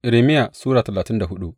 Irmiya Sura talatin da hudu